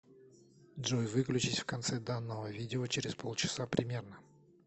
джой выключись в конце данного видео через полчаса примерно